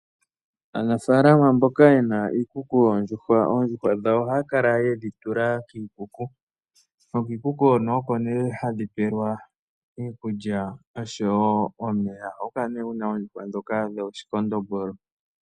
Aanafaalama mboka yena iikuku yoondjuhwa, oondjuhwa dhawo ohaya kala yedhi tula kiikuku, nokiikuku hono oko nee hadhi pewelwa iikulya noshowo omeya. Ohaku kala kuna oondjuhwa ndhoka dhooShikondombolo.